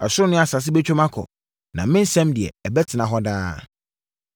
Ɛsoro ne asase bɛtwam akɔ, na me nsɛm deɛ, ɛbɛtena hɔ daa.